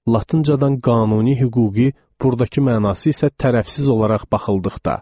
Latıncadan qanuni hüquqi burdakı mənası isə tərəfsiz olaraq baxıldıqda.